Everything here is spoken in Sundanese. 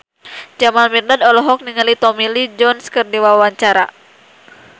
Jamal Mirdad olohok ningali Tommy Lee Jones keur diwawancara